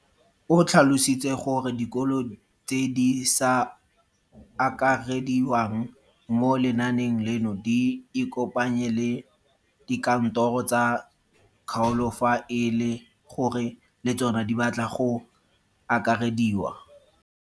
O tlhalositse gore dikolo tse di sa akarediwang mo lenaaneng leno di ikopanye le dikantoro tsa kgaolo fa e le gore le tsona di batla go akarediwa.